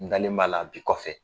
N dalen b'a la bi kɔfɛ